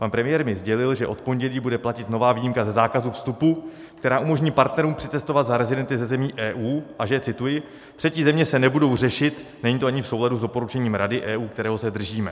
Pan premiér mi sdělil, že od pondělí bude platit nová výjimka ze zákazu vstupu, která umožní partnerům přicestovat za rezidenty ze zemí EU, a že - cituji: "Třetí země se nebudou řešit, není to ani v souladu s doporučením Rady EU, kterého se držíme."